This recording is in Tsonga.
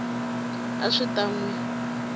a swi ta n wi